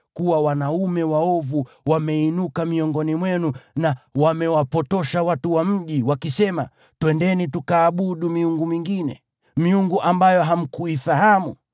kuna wanaume waovu wameinuka miongoni mwenu na wamewapotosha watu wa mji, wakisema, “Twendeni tukaabudu miungu mingine” (miungu ambayo hamkuifahamu),